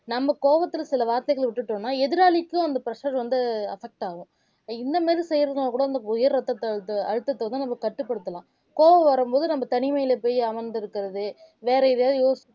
நம்ம கோவத்துல சில வார்த்தைகள விட்டுட்டோம்னா எதிராளிக்கும் அந்த pressure வந்து affect ஆகும் இந்த மாதிரி செய்யறதுன்னா கூட அந்த உயர் ரத்தத்த அழுத்த அழுத்தத்தை வந்து நம்ம கட்டுப்படுத்தலாம் கோபம் வரும்போது நம்ம தனிமையில போய் அமர்ந்திருக்கிறது வேற எதையாவது யோசிச்சுக்கிறது